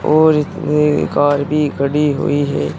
और इतनी कार भी खड़ी हुई है।